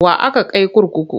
Wa aka kai kurkuku?